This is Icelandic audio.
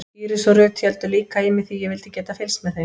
Íris og Ruth héldu líka í mig því ég vildi geta fylgst með þeim.